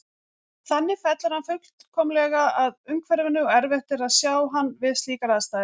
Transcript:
Þannig fellur hann fullkomlega að umhverfinu og erfitt er að sjá hann við slíkar aðstæður.